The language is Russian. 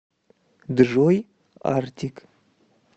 джой артик